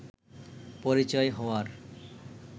পরিচয় হওয়ার